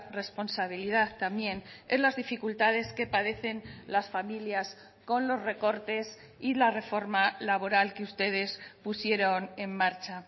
responsabilidad también en las dificultades que padecen las familias con los recortes y la reforma laboral que ustedes pusieron en marcha